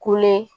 Kule